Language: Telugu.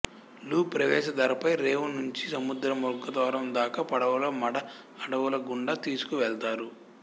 లు ప్రవేశ ధరపై రేవు నుంచి సముద్ర ముఖద్వారం దాకా పడవ లో మడ అడవుల గుండా తీసుకు వెళ్తారు